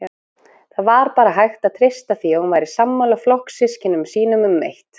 Það var bara hægt að treysta því að hún væri sammála flokkssystkinum sínum um eitt